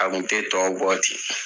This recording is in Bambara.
A tun tɛ tɔw bɔ ten.